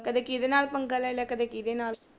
ਕਦੇ ਕਿਹਦੇ ਨਾਲ ਪੰਗਾ ਲੈ ਲਿਆ ਕਦੇ ਕਿਹਦੇ ਨਾਲ।